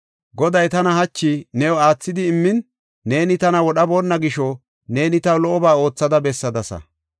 Goday tana hachi new aathidi immin neeni tana wodhaboonna gisho neeni taw lo77oba oothada bessadasa.